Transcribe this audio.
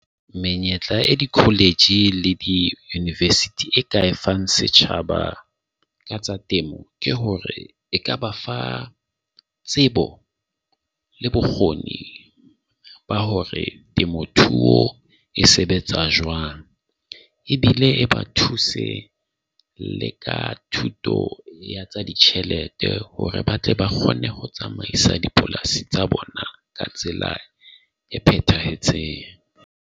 Menyetla e di-college le di-university e ka e fang setjhaba ka tsa temo ke hore e ka ba fa tsebo le bokgoni ba hore ke motho e sebetsa jwang. Ebile e ba thuse le ka thuto tsa ditjhelete hore ba tle ba kgone ho tsamaisa dipolasi tsa bona ka tsela e phethahetseng.